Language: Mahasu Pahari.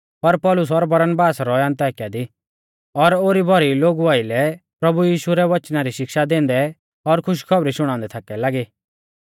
पर पौलुस और बरनबास रौऐ अन्ताकिया दी और ओरी भौरी लोगु आइलै प्रभु यीशु रै वचना री शिक्षा दैंदै और खुश खौबरी शुणाउंदै थाकै लागी